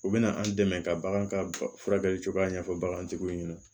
U bɛna an dɛmɛ ka bagan ka furakɛli cogoya ɲɛfɔ bagantigiw ɲɛna